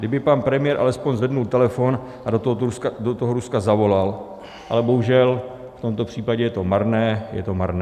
Kdyby pan premiér alespoň zvedl telefon a do toho Ruska zavolal, ale bohužel, v tomto případě je to marné, je to marné.